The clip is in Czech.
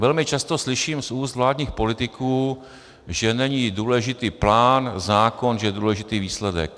Velmi často slyším z úst vládních politiků, že není důležitý plán, zákon, že je důležitý výsledek.